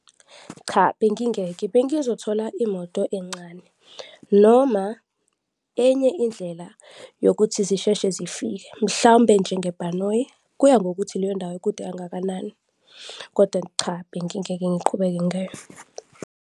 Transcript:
Cha, bengingeke. Bengizokuthola imoto encane noma enye indlela yokuthi zisheshe zifike, mhlawumbe njengebhanoyi, kuya ngokuthi leyondawo ikude kangakanani kodwa cha, bengingeke ngiqhubeke ngayo.